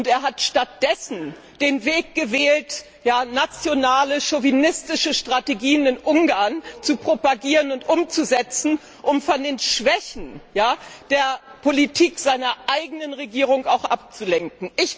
Er hat stattdessen den Weg gewählt, nationale, chauvinistische Strategien in Ungarn zu propagieren und umzusetzen, um von den Schwächen der Politik seiner eigenen Regierung abzulenken.